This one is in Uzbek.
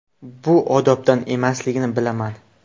Bu odobdan emasligini bilaman.